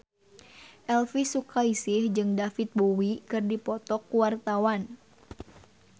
Elvy Sukaesih jeung David Bowie keur dipoto ku wartawan